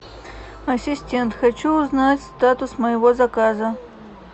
ассистент хочу узнать статус моего заказа